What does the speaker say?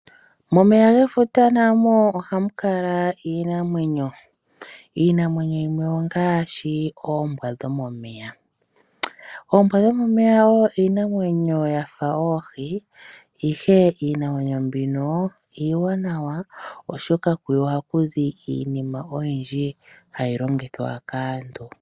Momeya gefuta na mo ohamu kala iinamwenyo, iinamwenyo yimwe ongaashi oombwa dhomomeya. Oombwa dhomomeya oyo iinamwenyo yafa oohi, ihe iinamwenyo mbino iiwanawa oshoka kuyo ohakuzi iinima oyindji ha yi longithwa kaantu.